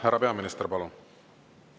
Härra peaminister, palun!